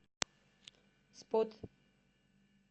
спот